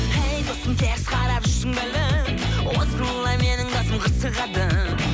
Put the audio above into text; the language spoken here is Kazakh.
ей досым теріс қарап жүрсің бе әлі осылай менің басым қырсығады